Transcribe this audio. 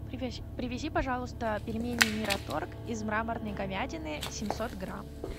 привези пожалуйста пельмени мираторг из мраморной говядины семьсот грамм